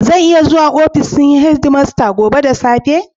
Zan iya zuwa ofishin headmaster gobe da safe?